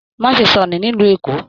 Má ṣe sọnù nílu Èkó!